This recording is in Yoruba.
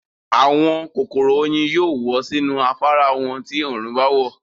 àwọn kòkòrò oyin yóò wọ̀ sínú afárá wọn ti òòrùn báwọ̀.